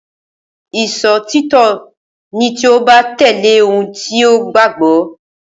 Ìṣòtítọ́ ni tí o bá tẹ̀lé ohun tí o gbàgbọ́.